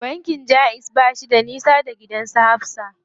Bankin jaiz bayi da nisa da gidan su Hafsa.